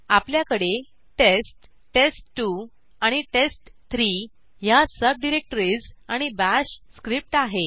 आपल्याकडे test test two आणि test three ह्या सबडिरेक्टरीज आणि बाश स्क्रिप्ट आहे